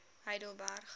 heidelberg